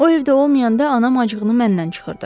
O evdə olmayanda anam acığını məndən çıxırdı.